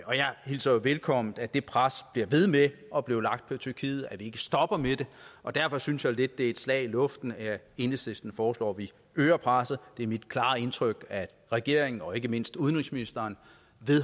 hilser jo velkommen at det pres bliver ved med at blive lagt på tyrkiet altså at vi ikke stopper med det og derfor synes jeg lidt er et slag i luften at enhedslisten foreslår at vi øger presset det er mit klare indtryk at regeringen og ikke mindst udenrigsministeren